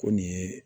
Ko nin ye